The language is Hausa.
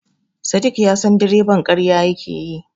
Sadik ya san direban ƙarya yake yi.